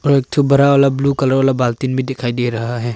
एक ठो बड़ा वाला ब्लू कलर वाला बल्टिन भी दिखाई दे रहा है।